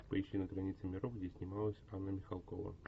поищи на границе миров где снималась анна михалкова